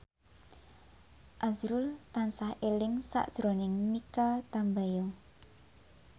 azrul tansah eling sakjroning Mikha Tambayong